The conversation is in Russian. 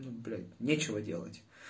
блять нечего делать